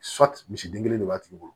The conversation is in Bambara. misiden kelen de b'a tigi bolo